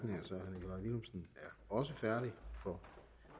også færdig for